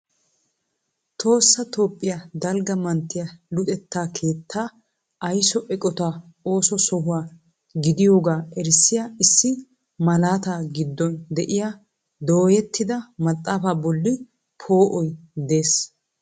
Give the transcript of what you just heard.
Tohossa Toophiya dalgga manttiya Luxetta keettaa aysso eqqota ooso sohuwa gidiyooga erissiya issi malaata giddon de'iyaa doyyettida maxaafa bolli pp"oy de'ees.